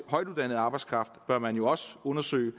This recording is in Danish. højtuddannet arbejdskraft bør man jo også undersøge